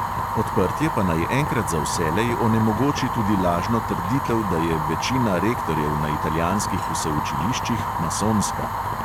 Odprtje pa naj enkrat za vselej onemogoči tudi lažno trditev, da je večina rektorjev na italijanskih vseučiliščih masonska.